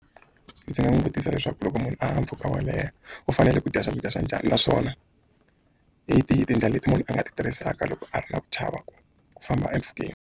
Ndzi nga n'wi vutisa leswaku loko munhu a haha mpfhuka wo leha u fanele ku dya swakudya swa njhani naswona hi tihi tindlela leti munhu a nga ti tirhisaka loko a ri na ku chava ku famba empfhukeni.